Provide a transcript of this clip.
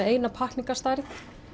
eina pakkningastærð